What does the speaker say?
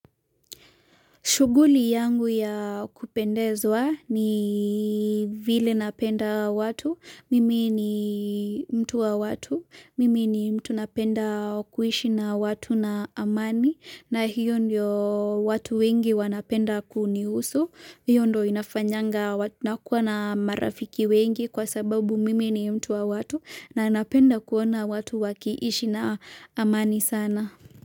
Shuguli yangu ya kupendezwa ni vile napenda watu, mimi ni mtu wa watu, mimi ni mtu napenda kuishi na watu na amani na hiyo ndio watu wengi wanapenda kunihusu, hiyo ndio inafanyanga na kuwa na marafiki wengi kwa sababu mimi ni mtu wa watu na napenda kuona watu wakiishi na amani sana.